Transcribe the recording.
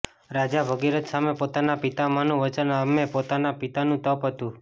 રાજા ભગીરથ સામે પોતાનાં પિતામહનું વચન અમે પોતાના પિતાનું તપ હતું